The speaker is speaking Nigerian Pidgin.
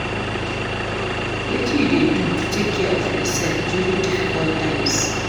wetin you dey do to take care of yourself during difficult times?